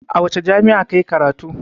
A wace jami'a ka yi karatu?